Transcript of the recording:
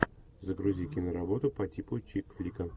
загрузи кино работу по типу чик флика